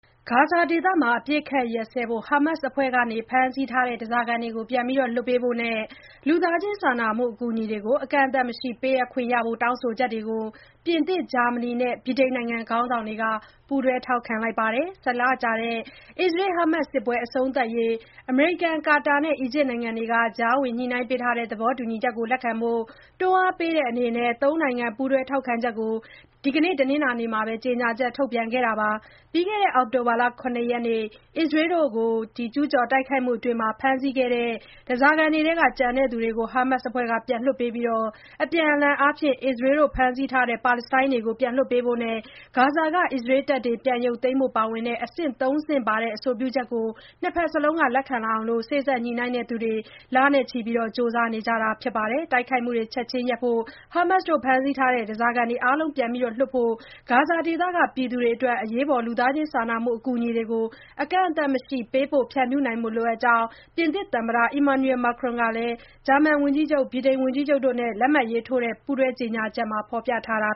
ဂါဇာဒေသမှာ အပစ်အခတ်ရပ်စဲဖို့၊ ဟားမတ်စ်အဖွဲ့က ဖမ်းဆီးထားတဲ့ ဓားစာခံတွေကို ပြန်လွှတ်ပေးဖို့နဲ့ စာနာမှု အကူအညီတွေကို အကန့်အသတ်မရှိ ပေးအပ်ခွင့်ရှိဖို့ တောင်းဆိုချက်တွေကို ပြင်သစ်၊ ဂျာမနီနဲ့ ဗြိတိန်နိုင်ငံခေါင်းဆောင်တွေက ပူးတွဲ ထောက်ခံလိုက်ပါတယ်။ ၁၀ လကြာ အစ္စရေး၊ ဟားမတ်စ် စစ်ပွဲ အဆုံးသတ်ရေး အမေရိကန်၊ ကာတာနဲ့ အီဂျစ်နိုင်ငံတို့က ကြားဝင်ညှိနှိုင်းပေးထားတဲ့ သဘောတူညီချက်ကို လက်ခံဖို့ တွန်းအားပေးတဲ့အနေနဲ့ ၃ နိုင်ငံ ပူးတွဲထောက်ခံချက်ကို ဒီကနေ့ တနင်္လာနေ့မှာပဲ ကြေညာချက် ထုတ်ပြန်ခဲ့တာပါ။ ပြီးခဲ့တဲ့ အောက်တိုဘာလ ၇ ရက်နေ့ အစ္စရေးကို ကျုးကျော်တိုက်ခိုက်မှုအတွင်း ဖမ်းဆီးခဲ့တဲ့ ဓားစာခံတွေထဲက ကျန်တဲ့သူတွေကို ဟားမတ်စ်အဖွဲ့က ပြန်လွှတ်ပေးပြီး၊ အပြန်အလှန်အားဖြင့် အစ္စရေးက ဖမ်းဆီးထားတဲ့ ပါလက်စတိုင်းတွေကို လွှတ်ပေးဖို့နဲ့ ဂါဇာက အစ္စရေးတပ်တွေ ပြန်ရုပ်သိမ်းဖို့တွေ ပါဝင်တဲ့ အဆင့် ၃ ဆင့်ပါ အဆိုပြုချက်ကို ၂ ဖက်စလုံးက လက်ခံလာအောင် စေ့စပ်ညှိနှိုင်းသူတွေ လနဲ့ချီကြာ ကြိုးပမ်းနေတာ ဖြစ်ပါတယ်။ တိုက်ခိုက်မှုတွေ ချက်ခြင်းရပ်ဖို့၊ ဟားမတ်စ်က ဖမ်းဆီးထားတဲ့ ဓားစာခံတွေ အားလုံးကို ပြန်လွှတ်ဖို့နဲ့ ဂါဇာဒေသက ပြည်သူတွေအတွက် အရေးပေါ် အကူအညီတွေကို အကန့်အသတ်မရှိ ပေးပို့ဖြန့်ဖြူးနိုင်ဖို့ လိုအပ်ကြောင်း ပြင်သစ်သမ္မတ Emmanuel Macron ဂျာမန်ဝန်ကြီးချုပ် Olaf Scholz ဗြိတိန်ဝန်ကြီးချုပ် Keir Starmer တို့ လက်မှတ်ရေးထိုးထားတဲ့ ပူးတွဲကြေညာချက်မှာ ဖော်ပြခဲ့တာ